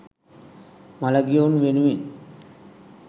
මළගියවුන් වෙනුවෙන්